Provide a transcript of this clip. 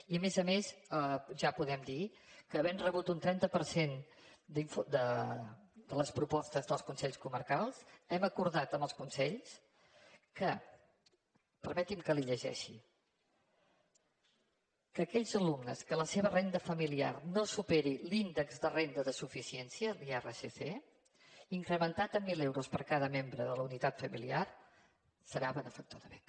i a més a més ja podem dir que havent rebut un trenta per cent de les propostes dels consells comarcals hem acordat amb els consells que permeti’m que li ho llegeixi aquells alumnes que la seva renda familiar no superi l’índex de renda de suficiència l’irsc incrementat en mil euros per cada membre de la unitat familiar serà benefactor de beca